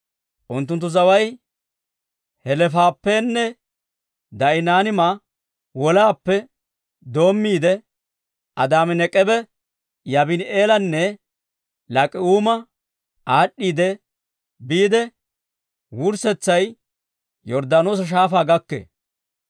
Unttunttu zaway Heleefappenne Da'inaaniima wolaappe doommiide, Adaami-Nek'eeba, Yaabini'eelanne Laak'k'uuma aad'd'iidde biide, wurssetsay Yorddaanoosa Shaafaa gakkee.